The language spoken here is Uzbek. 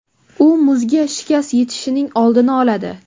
U muzga shikast yetishining oldini oladi.